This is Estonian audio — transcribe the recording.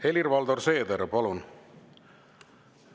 Helir-Valdor Seeder, palun!